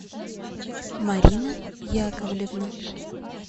марина яковлевна